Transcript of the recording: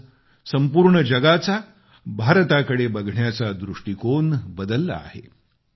आज संपूर्ण जगाचा भारताकडे बघण्याचा दृष्टीकोन बदलला आहे